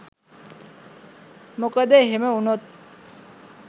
මොකද එහෙම වුණොත්